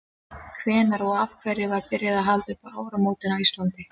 hvenær og af hverju var byrjað að halda upp á áramótin á íslandi